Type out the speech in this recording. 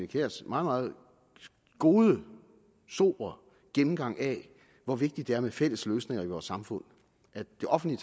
kjærs meget gode sobre gennemgang af hvor vigtigt det er med fælles løsninger i vores samfund at det offentlige